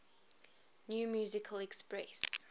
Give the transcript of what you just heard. new musical express